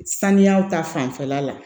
Saniyaw ta fanfɛla la